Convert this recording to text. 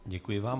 Děkuji vám.